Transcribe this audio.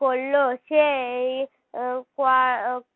করল সেই .